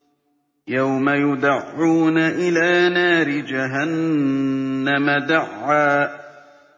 يَوْمَ يُدَعُّونَ إِلَىٰ نَارِ جَهَنَّمَ دَعًّا